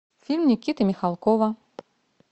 фильм никиты михалкова